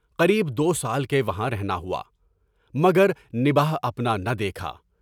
قریب دو سال کے وہاں رہنا ہوا، مگر نبھا اپنا نہ دیکھا۔